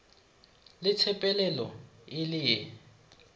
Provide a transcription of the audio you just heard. le tsepelelo e le ye